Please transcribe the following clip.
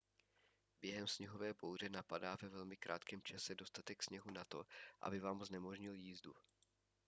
během sněhové bouře napadá ve velmi krátkém čase dostatek sněhu na to aby vám znemožnil jízdu